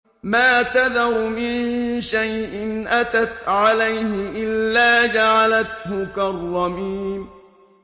مَا تَذَرُ مِن شَيْءٍ أَتَتْ عَلَيْهِ إِلَّا جَعَلَتْهُ كَالرَّمِيمِ